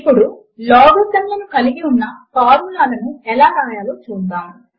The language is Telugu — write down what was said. ఇప్పుడు లాగరిథమ్ లను కలిగి ఉన్న ఫార్ములా లను ఎలా వ్రాయాలో చూద్దాము